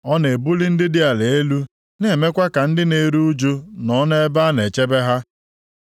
Ọ na-ebuli ndị dị ala elu, na-emekwa ka ndị na-eru ụjụ nọ nʼebe a na-echebe ha.